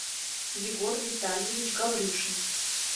егор витальевич гаврюшин